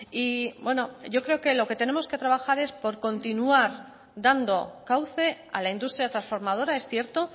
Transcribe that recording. y bueno yo creo lo que tenemos que trabajar es por continuar dando cauce a la industria trasformadora es cierto